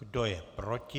Kdo je proti?